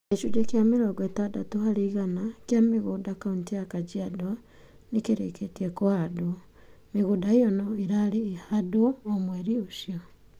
Gĩcunjĩ kĩa mĩrongo itadatu harĩ igana kĩa mũgũnda kaunti-inĩ ya Kajiado, nĩ kĩrĩkĩtie kũhandwo. Mĩgũnda ĩyo no ĩrarĩhahandwo o mweri ũcio.